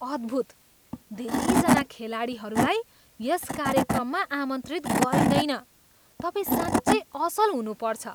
अद्भुत! धेरैजना खेलाडीहरूलाई यस कार्यक्रममा आमन्त्रित गरिँदैन। तपाईँ साँच्चै असल हुनुपर्छ!